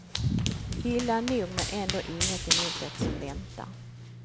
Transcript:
Illa nog, men ändå inget emot det som väntar.